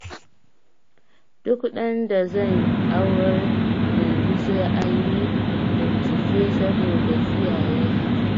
Duk ɗan da zan aurar yanzu sai an yi bincike saboda kiyaye hakan